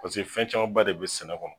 Paseke fɛn camanba de be sɛnɛ kɔnɔ